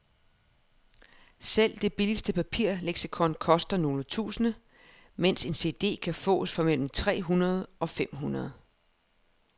Selv det billigste papirleksikon koster nogle tusinde, mens en cd kan fås for mellem tre hundrede og fem hundrede.